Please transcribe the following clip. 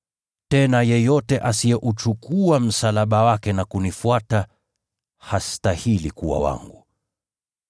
Tena yeyote asiyeuchukua msalaba wake na kunifuata, hastahili kuwa wangu.